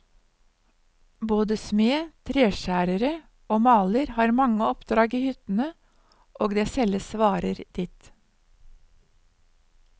Både smed, treskjærere og maler har mange oppdrag i hyttene og det selges varer dit.